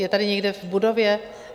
Je tady někde v budově?